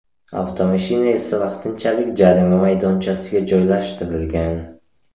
Avtomashina esa vaqtinchalik jarima maydonchasiga joylashtirilgan.